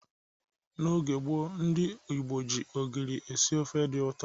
N'oge gboo ndị Igbo ji ogiri esi ofe dị ụtọ.